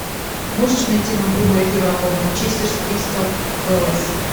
можешь найти нам прямой эфир апл манчестер с кристал пэлас